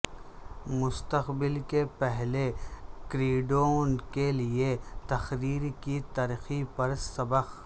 مستقبل کے پہلے گریڈوں کے لئے تقریر کی ترقی پر سبق